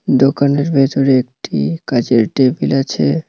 দোকানের ভেতরে একটি কাঁচের টেবিল আছে।